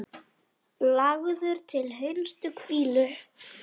Lagður til hinstu hvílu?